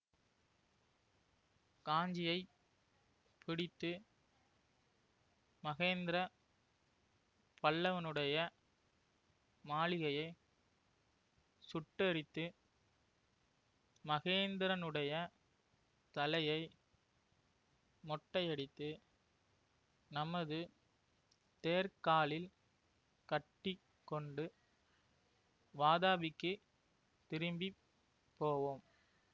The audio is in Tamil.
காஞ்சியை பிடித்து மகேந்திர பல்லவனுடைய மாளிகையை சுட்டெரித்து மகேந்திரனுடைய தலையை மொட்டையடித்து நமது தேர்க்காலில் கட்டி கொண்டு வாதாபிக்குத் திரும்பி போவோம்